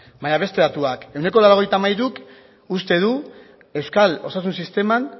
baina beste datuak ehuneko laurogeita hamairuk uste du euskal osasun sistemak